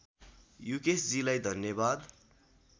युकेशजीलाई धन्यवाद